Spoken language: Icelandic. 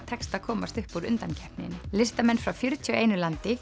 tekst að komast upp úr undankeppninni listamenn frá fjörutíu og einu landi